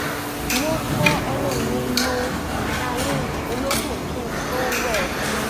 mo fọ ẹnu mi lo ìtayín olókùn kí n tó wẹ̀